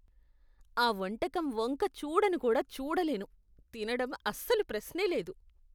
ఆ వంటకం వంక చూడను కూడా చూడలేను తినడం అసలు ప్రశ్నే లేదు.